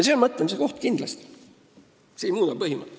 See on mõtlemise koht kindlasti, aga põhimõtet see ei muuda.